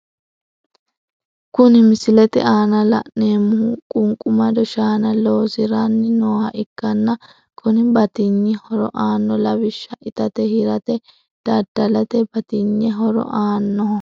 Kuni misilete aana la, nemoho qunqumado shaana loosirani nooha ikkana kunni batinye horo anno lawishsha itate hirate dadalate batinye horo annoho.